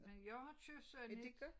Men jeg har købt sådan et